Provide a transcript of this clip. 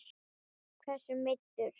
Hversu meiddur?